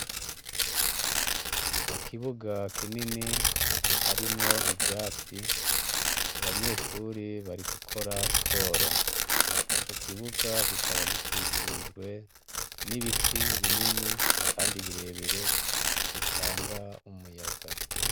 Mukibuga kinini , harimwo ivyatsi, abanyeshure bari gukora siporo. Ico kibuga kikaba gikikujwe n’ibiti binini kandi birebire bitanga umuyaga.